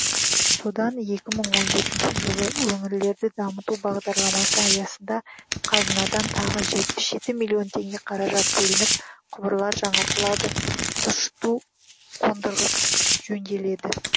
содан екі мың он жетінші жылы өңірлерді дамыту бағдарламасы аясында қазынадан тағы жетпіс жеті миллион теңге қаражат бөлініп құбырлар жаңартылады тұщыту қондырғысы жөнделеді